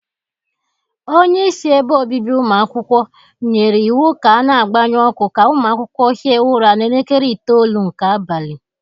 Onyeisi ebe obibi ụmụ akwukwọ nyiri iwu ka a na-agbaṅyụ ọkụ ka ụmụ akwụkwọ hie ụra n'elekere itoolu nke abali